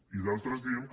i d’altres diem que